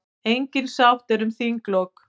Engin sátt er um þinglok.